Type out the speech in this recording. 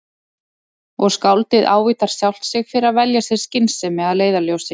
Og skáldið ávítar sjálft sig fyrir að velja sér skynsemi að leiðarljósi.